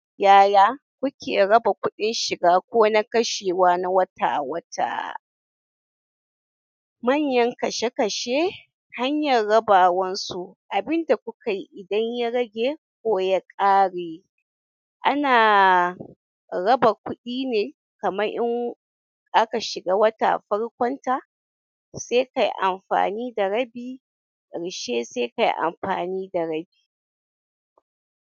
Yaya, kuke raba kuɗin shiga ko na kashewa na wata-wata? Manyan kashe kashe, hanyar raba wansu abinda kukai idan ya rage ko ya ƙare anaa, raba kuɗi ne kamar in, aka shiga wata farkon ta sai kai amfani da rabi ƙarshe sai kai amfani da rabi.